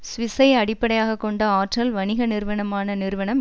சுவிசை அடிப்படையாக கொண்ட ஆற்றல் வணிக நிறுவனமான நிறுவனம்